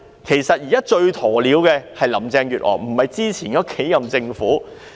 其實現在最"鴕鳥"的是林鄭月娥，不是以前的數任政府。